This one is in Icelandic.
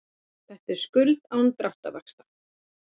Og þetta er skuldin án dráttarvaxta.